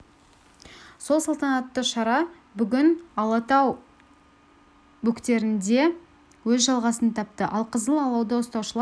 сол салтанатты шара бүгін алатау бөктерінде өз жалғасын тапты алқызыл алауды ұстаушылар алматыдағы абай даңғылының